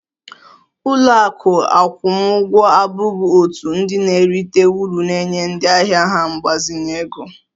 Ụlọ akụ akwụmụgwọ abụghị òtù ndị na-erite uru na-enye ndị ahịa ha mgbazinye ego